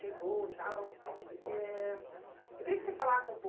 chegou e tal. E... é... Eu queria que você falasse um